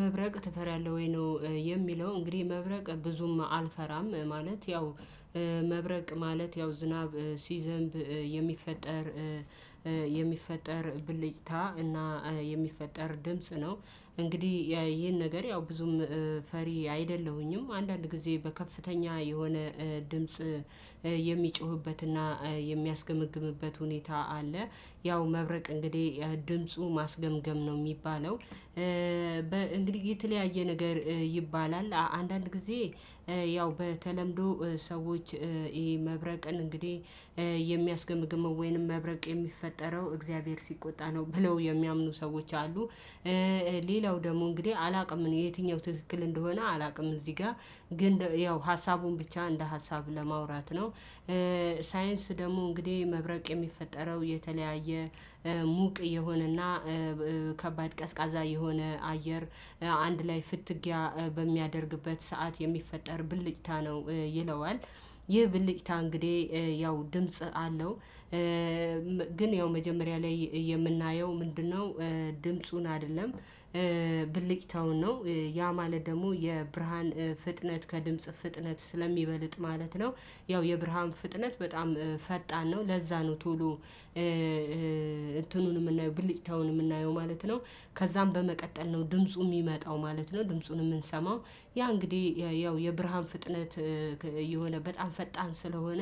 መብረቅ ትፈራለህ ወይ? ነው የሚለው እንግዲህ መብረቅ ብዙም አልፈራም ማለት ያው። መብረቅ ማለት ያው ዝናብ ሲዘንብ የሚፈጠር የሚፈጠር ብልጭታ እና የሚፈጠር ድምጽ ነው እንግዲህ ይሄን ነገር ያው ብዙም ፈሪ አይደለሁኝም አንዳንድ ጊዜ በከፍተኛ የሆነ ድምጽ የሚጮህበትና የሚያስገመግምበት ሁኔታ አለ። ያው መብረቅ እንግዲህ ድምፁ ማስገምገም ነው የሚባለው እንግዲህ የተለያየ ነገር ይባላል አንዳንድ ጊዜ። ያው በተለምዶ ሰዎች ይሄ መብረቅን እንግዲህ የሚያስገምግመው ወይንም መብረቅ የሚፈጠረው እግዚአብሔር ሲቆጣ ነው ብለው የሚያምኑ ሰዎች አሉ። ሌላው ደግሞ እንግዲህ አላውቅም የትኛው ትክክል እንደሆነ አላውቅም እዚህ ጋር ግን ያው ሀሳቡን ብቻ እንደ ሀሳብ ለማውራት ነው። ሳይንስ ደግሞ እንግዲህ መብረቅ የሚፈጠረው የተለያየ ሙቅ የሆነና ከባድ ቀዝቃዛ የሆነ አየር አንድ ላይ ፍትጊያ በሚያደርግበት ሰዓት የሚፈጠር ብልጭታ ነው ይለዋል። ይህ ብልጭታ እንግዲህ ያው ድምጽ አለው። ግን ያው መጀመሪያ ላይ የምናየው ምንድነው? ድምፁን አይደለም ብልቅታውን ነው። ያ ማለት ደግሞ የብርሃን ፍጥነት ከድምፅ ፍጥነት ስለሚበልጥ ማለት ነው። ያው የብርሃን ፍጥነት በጣም ፈጣን ነው ለዛ ነው ቶሎ። እንትኑን የምናየው ብልጭታውን የምናየው ማለት ነው። ከዛም በመቀጠል ነው ድምፁ የሚመጣው ማለት ነው ድምፁን የምንሰማው። ያ እንግዲህ ያው የብርሃን ፍጥነት የሆነ በጣም ፈጣን ስለሆነ